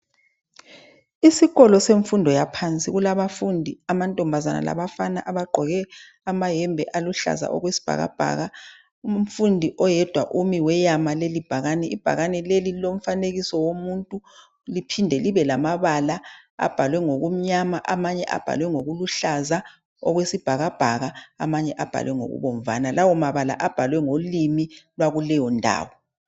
Isikolo semfundo yaphansi kulabafundi amantombazana labafana abagqoke amayembe aluhlaza okwesibhakabhaka umfundi oyedwa umi weyama lelibhakane ibhakane leli lilomfanekiso womuntu liphinde libe lamabala abhalwe ngokumnyama amanye abhalwengokuluhlaza okwesibhakabhaka amanye abhalwe ngokubomvana lawo mabala abhalwe ngolimi lwakuleyo ndawo